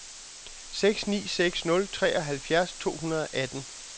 seks ni seks nul treoghalvfjerds to hundrede og atten